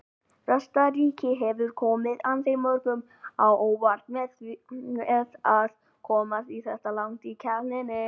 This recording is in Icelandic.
Kosta Ríka hefur komið ansi mörgum á óvart með að komast þetta langt í keppninni.